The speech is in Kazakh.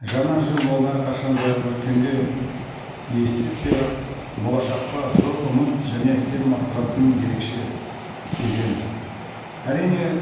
жаңа жыл ол әрқашан да өткенге есеп беріп болашаққа зор үміт және сенім арттыратын ерекше кезең әрине